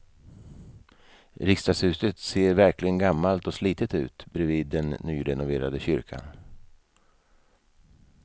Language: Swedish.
Riksdagshuset ser verkligen gammalt och slitet ut bredvid den nyrenoverade kyrkan.